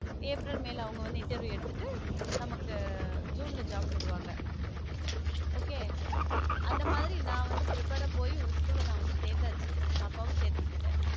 April, May ல அவங்க வந்து interview எடுத்துட்டு நமக்கு ஜூன்ல job தருவாங்க okay அந்த மாதிரி நான் வந்து prepared ஆ போயி ஒரு school ல நான் வந்து சேர்ந்தாச்சு பாப்பாவும் சேர்த்து விட்டுட்டேன்